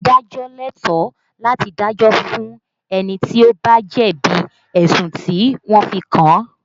Adájọ́ lẹ́tọ̀ọ́ láti dájọ́ fún ẹni tí ó bá jẹ̀bi ẹ̀sùn tí wọ́n fi kàn án